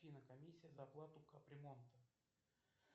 афина комиссия за оплату кап ремонта